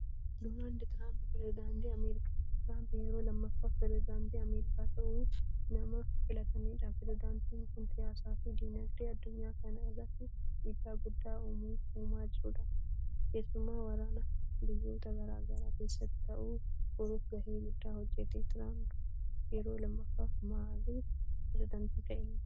Doonaald Tiraamp peresedaantii Ameerikaati. Traamp yeroo lammaffaaf peresedaantii Ameericaa ta'uun nama filatamedha. Peresedaantiin kun siyaasaa fi dinagdee addunyaa kana irratti dhiibbaa guddaa uumaa jirudha. Keessumaa waraana biyyoota garagaraa keessatti ta'u furuuf gahee guddaa hojjete. Traamp yeroo lammaffaaf maalif peresedaantii ta'e?